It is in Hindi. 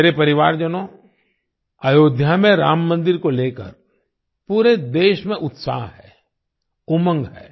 मेरे परिवारजनों अयोध्या में राम मंदिर को लेकर पूरे देश में उत्साह है उमंग है